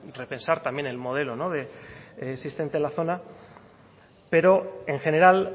repensar también el modelo existente en la zona pero en general